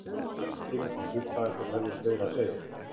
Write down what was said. Hann hafði nægan tíma til að hlusta ef þeir hefðu fleira að segja.